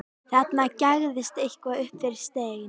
Þarna gægðist eitthvað upp fyrir stein.